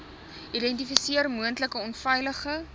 identifiseer moontlike onveilige